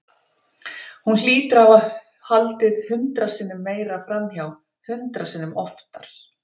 Hún hlýtur að hafa haldið hundrað sinnum meira framhjá, hundrað sinnum oftar.